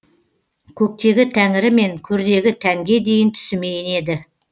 көктегі тәңірі мен көрдегі тәнге дейін түсіме енеді